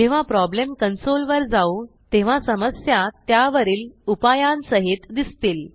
जेव्हा problem console वर जाऊ तेव्हा समस्या त्यावरील उपायांसहित दिसतील